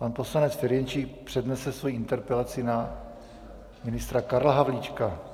Pan poslanec Ferjenčík přednese svoji interpelaci na ministra Karla Havlíčka.